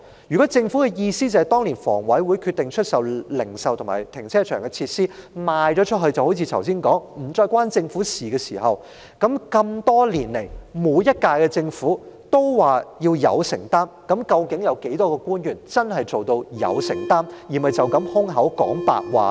如果政府的意思是，在房委會當年決定出售零售及停車場設施後，事情就如剛才所說般再與政府無關，那何以多年來每屆政府也說要有承擔，而當中有多少官員真的做到有承擔，而不是空口說白話呢？